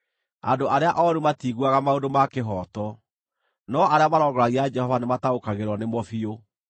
Andũ arĩa ooru matiiguaga maũndũ ma kĩhooto, no arĩa marongoragia Jehova nĩmataũkagĩrwo nĩ mo biũ.